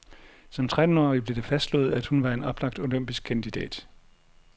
Som trettenårig blev det fastslået, at hun var en oplagt olympisk kandidat.